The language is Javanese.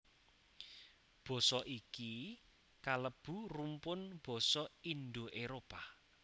Basa iki kalebu rumpun basa Indo Éropah